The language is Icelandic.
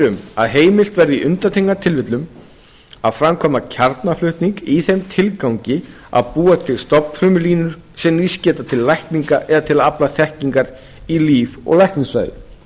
um að heimilt verði í undantekningartilfellum að framkvæma kjarnaflutning í þeim tilgangi að búa til stofnfrumulínur sem nýst geta til lækninga eða til að afla þekkingar í líf og læknisfræði